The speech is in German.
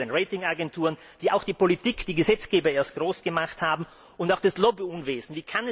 Genauso wie die Ratingagenturen, die auch die Politik, die Gesetzgeber erst groß gemacht haben, und auch das Lobbyunwesen.